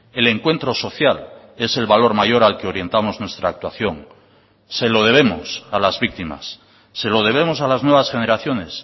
el encuentro social es el valor mayor al que orientamos nuestra actuación se lo debemos a las víctimas se lo debemos a las nuevas generaciones